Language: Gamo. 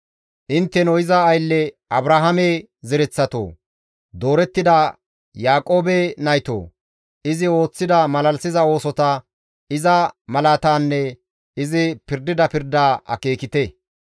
Intteno iza aylle Abrahaame zereththatoo! Doorettida Yaaqoobe naytoo! Izi ooththida malalisiza oosota, iza malaatanne izi pirdida pirda akeekite.